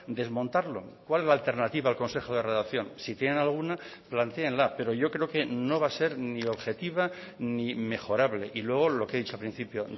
desmontarlo cuál es la alternativa al consejo de redacción si tienen alguna plantéenla pero yo creo que no va a ser ni objetiva ni mejorable y luego lo que he dicho al principio